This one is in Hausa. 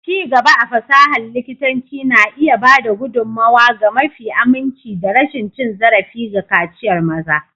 Ci gaba a fasahar likitanci na iya ba da gudummawa ga mafi aminci da rashin cin zarafi ga kaciyar maza.